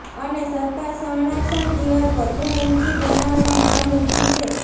અને સરકાર સંરક્ષણ દિવાલ વધુ ઊંચી બનાવવા માંગ ઉઠી છે